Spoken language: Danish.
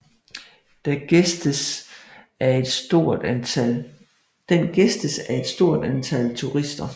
Den gæstes af et stort antal turister